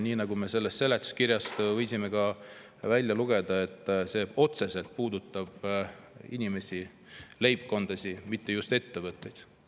Nii nagu me sellest seletuskirjast võisime välja lugeda, puudutab see otseselt inimesi ja leibkondi, mitte ainult ettevõtteid.